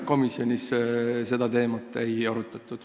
Komisjonis seda teemat ei arutatud.